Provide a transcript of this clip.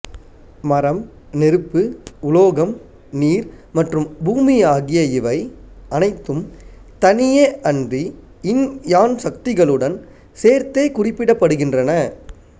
மரம் நெருப்பு உலோகம் நீர் மற்றும் பூமி ஆகிய இவை அனைத்தும் தனியே அன்றி யின்யான் சக்திகளுடன் சேர்த்தே குறிப்பிடப்படுகின்றன